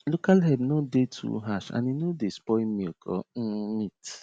local herb no dey too harsh and e no dey spoil milk or um meat